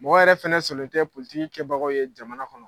Mɔgɔ yɛrɛ fana sɔnnen tɛ kɛbagaw ye jamana kɔnɔ